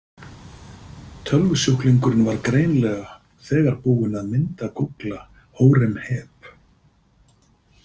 Tölvusjúklingurinn var greinilega þegar búinn að myndagúgla Hóremheb.